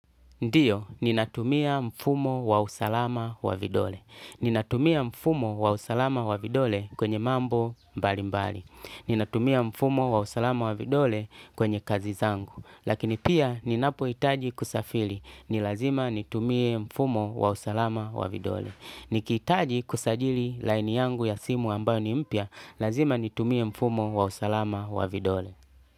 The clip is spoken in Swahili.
Ndiyo, ninatumia mfumo wa usalama wa vidole. Ninatumia mfumo wa usalama wa vidole kwenye mambo mbalimbali. Ninatumia mfumo wa usalama wa vidole kwenye kazi zangu. Lakini pia ninapoitaji kusafili. Nilazima nitumie mfumo wa usalama wa vidole. Nikiitaji kusajili laini yangu ya simu ambayo ni mpya. Lazima nitumie mfumo wa usalama wa vidole.